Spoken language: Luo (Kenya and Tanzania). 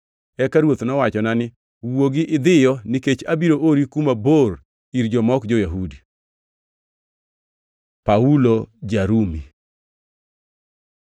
“Eka Ruoth nowachona ni, ‘Wuogi idhiyo, nikech abiro ori kuma bor ir joma ok jo-Yahudi.’ ” Paulo ja-Rumi